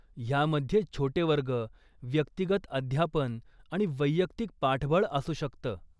ह्यामध्ये छोटे वर्ग, व्यक्तिगत अध्यापन आणि वैयक्तिक पाठबळ असू शकतं.